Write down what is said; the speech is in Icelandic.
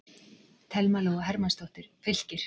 Thelma Lóa Hermannsdóttir, Fylkir